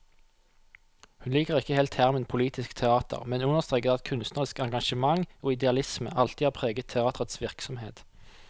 Hun liker ikke helt termen politisk teater, men understreker at kunstnerisk engasjement og idealisme alltid har preget teaterets virksomhet.